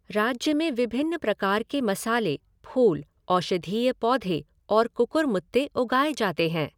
राज्य में विभिन्न प्रकार के मसाले, फूल, औषधीय पौधे और कुकुरमुत्ते उगाए जाते हैं।